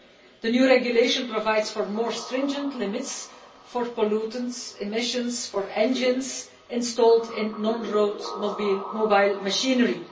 The new regulation provides for more stringent limits for pollutant emissions for engines installed in non-road mobile machinery.